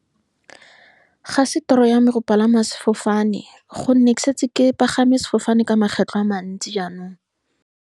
Ga se toro ya me go palama sefofane, ka gonne ke setse ke pagama sefofane ka makgetlho a mantsi jaanong.